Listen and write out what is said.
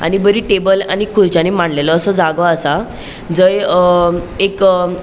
आणि बरी टेबल आणि खुर्च्यानि मांडलोलो असो जागो असा जय अ एक --